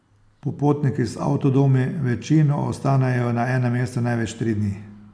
Popotniki z avtodomi večino ostanejo na enem mestu največ tri dni.